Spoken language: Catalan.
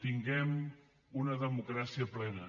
tinguem una democràcia plena